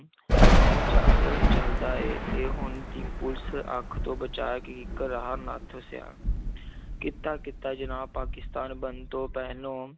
ਉਹ ਚਾਲ ਚੱਲਦਾ ਹੈ ਇਹ ਹੁਣ ਦੀ ਪੁਲਿਸ ਅੱਖ ਤੋਂ ਬਚਾ ਕੇ ਇੱਕ ਰਿਹਾ ਨੱਥ ਸਿਆਂ ਕੀਤਾ ਜਨਾਬ ਪਾਕਿਸਤਾਨ ਬਣਨ ਤੋਂ ਪਹਿਲੋਂ